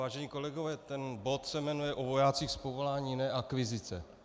Vážení kolegové, ten bod se jmenuje o vojácích z povolání, ne akvizice.